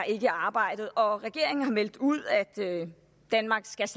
ikke i arbejdet og regeringen har meldt ud at danmark slet